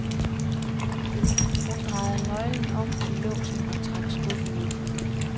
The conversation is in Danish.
Hun drejede nøglen om i låsen og trak skuffen ud.